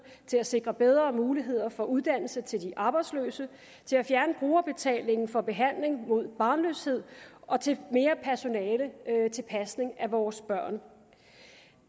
til at sikre bedre mulighed for uddannelse til de arbejdsløse til at fjerne brugerbetalingen for behandling mod barnløshed og til mere personale til pasning af vores børn